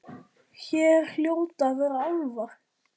Hér hljóta að vera álfar.